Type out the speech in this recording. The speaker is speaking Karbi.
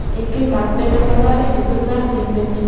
anke carpet acolor ke netum langdin pen chini.